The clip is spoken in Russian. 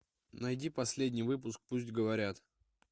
найди последний выпуск пусть говорят